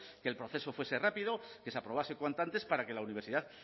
que el proceso fuese rápido que se aprobase cuanto antes para que la universidad